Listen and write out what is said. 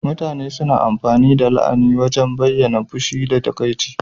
Mutane suna amfani da la'ana ta wajen bayyana fushi da takaici.